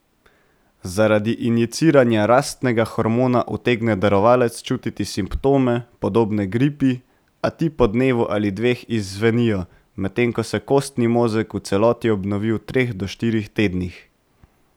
Zaradi injiciranja rastnega hormona utegne darovalec čutiti simptome, podobne gripi, a ti po dnevu ali dveh izzvenijo, medtem ko se kostni mozeg v celoti obnovi v treh do štirih tednih.